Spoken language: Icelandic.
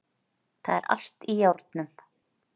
Það er allt í járnum